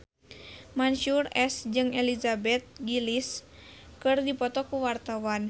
Mansyur S jeung Elizabeth Gillies keur dipoto ku wartawan